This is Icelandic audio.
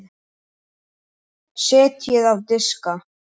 Setjið á diska.